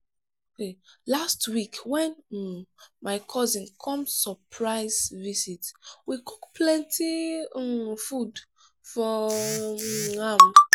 last week wen um my cousin come surprise visit we cook plenty um food for um am.